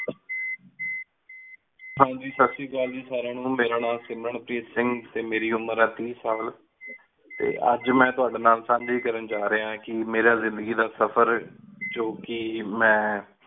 ਹਨ ਜੀ ਸਤ ਸ੍ਰੀ ਅਕਾਲ ਸਾਰੀਆਂ ਨੂੰ, ਮੇਰਾ ਨਾਮ ਸਿਮਰਨ ਪ੍ਰੀਤ ਸਿੰਘ ਤੇ ਮੇਰੀ ਉਮਰ ਆਏ ਤੀਸ ਸਾਲ, ਤੇ ਅਜ ਮੇਨ ਤੁਹਾਡੀ ਨਾਲ ਸਾਂਝੀ ਕਰਨ ਜਾ ਰਯਾ ਕੀ ਮੇਰਾ ਜਿੰਦਗੀ ਦਾ ਸਫ਼ਰ ਜੋ ਕਿ ਮੇਨ